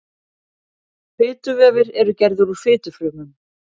fituvefir eru gerðir úr fitufrumum